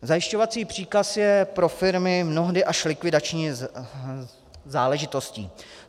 Zajišťovací příkaz je pro firmy mnohdy až likvidační záležitostí.